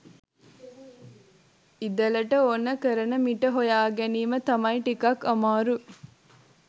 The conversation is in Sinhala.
ඉදලට ඕන කරන මිට හොයාගැනීම තමයි ටිකක් අමාරු